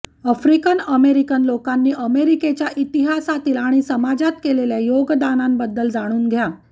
African American लोकांनी अमेरिकेच्या इतिहासातील आणि समाजात केलेल्या योगदानांबद्दल जाणून घ्या